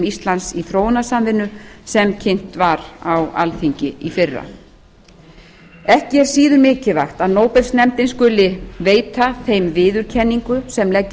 íslands í þróunarsamvinnu sem kynnt voru á alþingi í fyrra ekki er síður mikilvægt að nóbelsnefndin skuli veita þeim viðurkenningu sem leggja